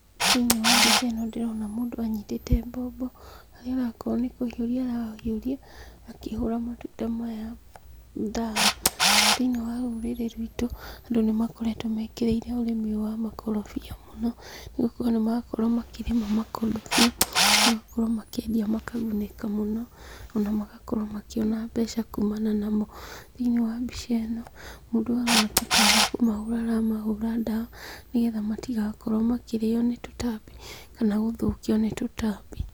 Thĩ-inĩ wa mbica ĩno ndĩrona mũndũ anyitĩte mbombo, harĩa arakorwo nĩ kũhiũria arahiũria akĩhũra matunda maya ndawa. Thĩ-inĩ wa rũrĩrĩ rwitũ, andũ nĩmakoretwo mekĩrĩire ũrĩmi ũyũ wa makorobia mũno nĩgũkorwo nĩmarakorwo makĩrĩma makorobia, magakorwo makĩendia makagunĩka mũno, ona magakorwo makĩona mbeca kumana namo. Thĩ-inĩ wa mbica ĩno mũndũ ũyũ aroneka ta arĩ kũmahũra aramahũra ndawa nĩ getha matigakorwo makĩrĩo nĩ tũtambi kana gũthũkio nĩ tũtambi.